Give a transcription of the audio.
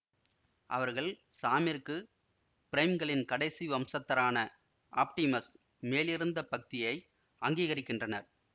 அவர்கள் சாமிற்கு பிரைம்களின் கடைசி வம்சத்தாரான ஆப்டிமஸ் மேலிருந்த பக்தியை அங்கிகரிக்கின்றனர்